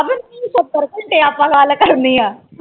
ਸਤਰ ਘੰਟੇ ਆਪਾ ਗੱਲ ਕਰਨੀਆਂ